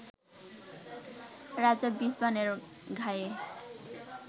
রাজা বিষবাণের ঘায়ে